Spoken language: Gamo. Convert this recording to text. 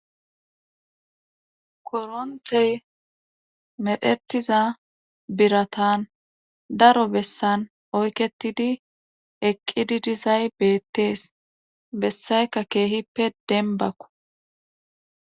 korontey medhetiza biratan daro bessan oyketidi eqqidi dizay beettees bessayka keehippe denbakko